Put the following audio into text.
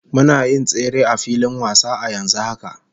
Muna yin tsere a filin wasa a yanzu haka